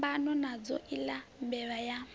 phambana nadzo iḽa mbevha ya